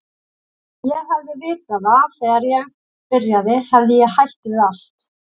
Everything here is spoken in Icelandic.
Ef ég hefði vitað það þegar ég byrjaði hefði ég hætt við allt.